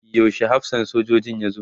yaushe hafsan sojojin ya zo?